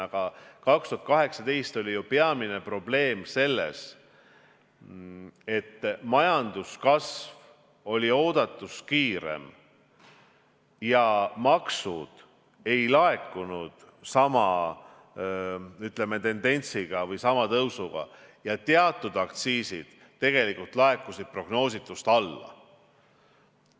Aga 2018 oli ju peamine probleem selles, et majanduskasv oli oodatust kiirem ja maksud ei laekunud sama, ütleme, tendentsiga või sama tõusuga ja teatud aktsiisid tegelikult laekusid prognoositust vähem.